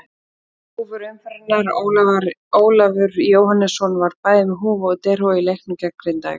Húfur umferðarinnar: Ólafur Jóhannesson var bæði með húfu og derhúfu í leiknum gegn Grindavík.